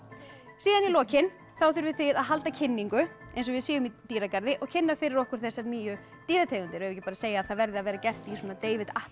síðan í lokin þá þurfið þið að halda kynningu eins og við séum í dýragarði og kynna fyrir okkur þessar nýju dýrategundir eigum við ekki að segja að það verði að vera gert í David